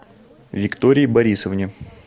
виктории борисовне